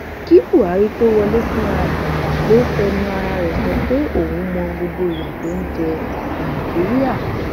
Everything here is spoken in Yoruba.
kí buhari tóó wọlé fúnra ẹ ló fẹnu ara rẹ sọ pé òun mọ gbogbo ìyà tó ń jẹ nàìjíríà